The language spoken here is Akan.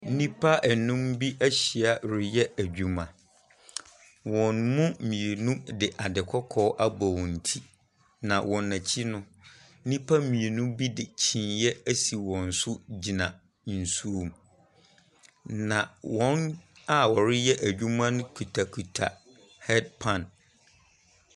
Nnipa anum bi ahyia reyɛ adwuma. Wɔn mu mmienu de ade kɔkɔɔ abɔ wɔn ti, na wɔn akyi no, nnipa mmienu bo de kyiniiɛ asi wɔn so gyina nsuom, na wɔn a wɔreyɛ adwuma no kutakuta headpan.